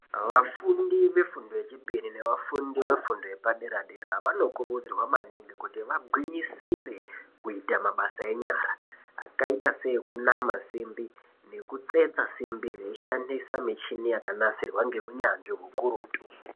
Vafundi vefundo yechipiri nevafundi vefundo yepadera-dera vanokurudzirwa maningi kuti vagwinyisire kuita mabasa enyara akaita seekunama simbi nekutsetsa simbi veishandise michini yakanasirwe ngeunyanzvi ukurutu.